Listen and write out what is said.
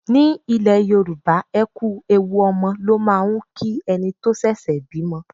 Ní ilẹ̀ Yorùbá, ẹ kú ewu ọmọ ló máà ń kí ẹni tó ṣẹ̀ṣẹ̀ bímọ.